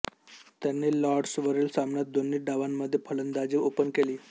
त्यांनी लॉर्ड्स वरिल सामन्यात दोन्ही डावांमध्ये फलंदाजी ओपन केली